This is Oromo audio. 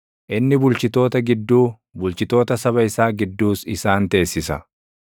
inni bulchitoota gidduu, bulchitoota saba isaa gidduus isaan teessisa.